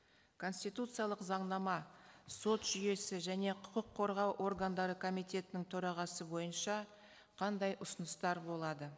конституциялық заңнама сот жүйесі және құқық қорғау органдары комитетінің төрағасы бойынша қандай ұсыныстар болады